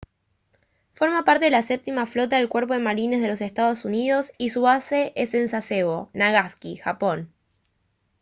forma parte de la séptima flota del cuerpo de marines de los estados unidos y su base es en sasebo nagasaki japón